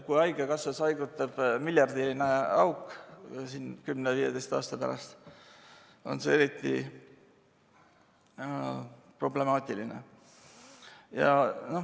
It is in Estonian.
Kui haigekassas haigutab miljardiline auk, siis 10–15 aasta pärast on see eriti problemaatiline.